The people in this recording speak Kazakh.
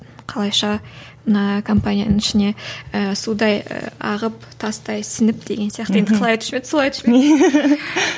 қалайша мына компанияның ішіне і судай ағып тастай сіңіп деген сияқты енді қалай айтушы ма еді солай айтушы ма еді